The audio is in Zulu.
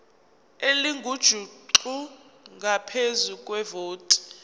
elingujuqu ngaphezu kwevoti